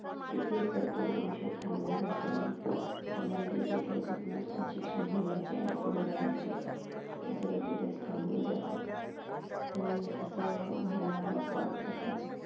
तिथेच तो विषय थांबला जातो आणि त्या मुलीचे जे काही स्वप्नं असतात शिक्षण घेण्याची आणि पुढं जाण्याची ते सगळे तिथेच थांबून जातात. पण असं व्हायला नको अर्थातच